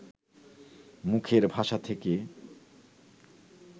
মুখের ভাষা থেকে